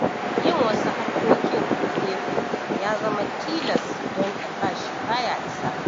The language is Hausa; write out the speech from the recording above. Yin wasu harkokin a gefe ya zama tilas, don albashi ba ya isa.